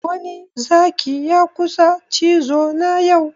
Wani Zaki ya kusa cizo na yau